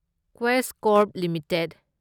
Quess Corp limited